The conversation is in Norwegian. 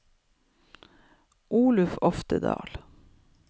Olaug Oftedal